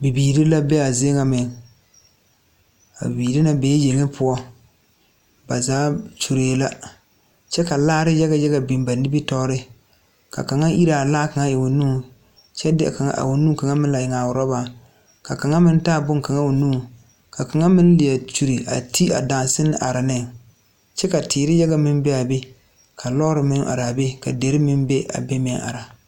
Bibiire la bee aa zie ŋa meŋ a bibiire ŋa bee yeŋe poɔ ba zaa kyuree la kyɛ ka laare yaga yaga biŋ ba nimitoore ka kaŋa iraa laa kaŋa eŋ o nuŋ kyɛ de a nu kaŋa meŋ la eŋaa rɔbaŋ ka kaŋa meŋ taa bonkaŋa o nuŋ ka kaŋa meŋ lie kyure a te adaraŋsane a are neŋ kye ka teere yaga meŋ bee aa be ka lɔɔre meŋ araa be ka derre meŋ be a be meŋ ara.